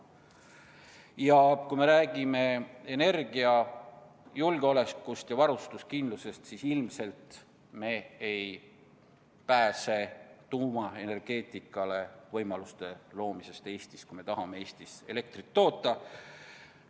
Ja kui me räägime energiajulgeolekust ja varustuskindlusest, siis ilmselt me ei pääse ka Eestis tuumaenergeetikale võimaluste loomisest, kui me tahame Eestis elektrit toota.